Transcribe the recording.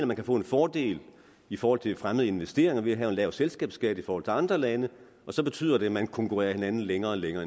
man kan få en fordel i forhold til fremmede investeringer ved at have en lav selskabsskat i forhold til andre lande og så betyder det at man konkurrerer hinanden længere og længere